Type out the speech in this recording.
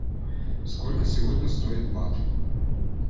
сколько сегодня стоит бат